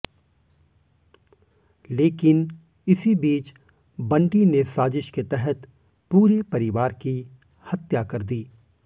लेकिन इसी बीच बंटी ने साजिश के तहत पूरे परिवार की हत्या कर दी